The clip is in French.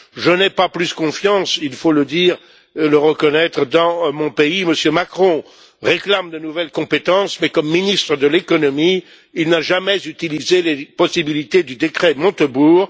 Je n'ai pas plus confiance, il faut le dire et le reconnaître, dans mon pays, où M. Macron réclame de nouvelles compétences, mais quand il était ministre de l'économie, il n'a jamais utilisé les possibilités du décret Montebourg.